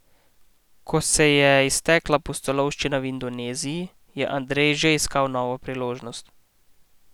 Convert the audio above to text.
Ko se je iztekala pustolovščina v Indoneziji, je Andrej že iskal novo priložnost.